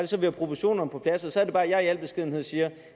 så vi har proportionerne på plads så så er det bare at jeg i al beskedenhed siger